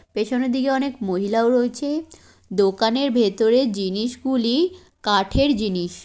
পেছনের দিকে অনেক মহিলাও রয়েছে দোকানের ভেতরে জিনিস গুলি কাঠের জিনিস।